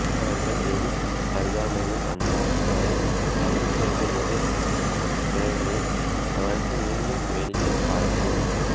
அவர்கள் வெகு அருகாமையில் வந்தால் அவை தள்ளிச்சென்று வேறு கிளைகளில் அமர்ந்து மீண்டும் வேடிக்கை பார்க்கும்